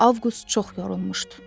Avqust çox yorulmuşdu.